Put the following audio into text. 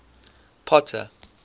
potter